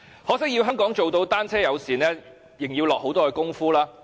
可惜，要香港做到單車友善，仍然要下很多工夫。